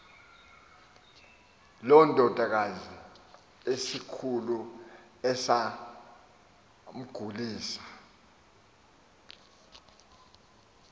londakazi esikhulu esamgulisa